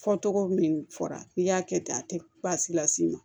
Fɔ tɔgɔ min fɔra n'i y'a kɛ ten a tɛ baasi la s'i ma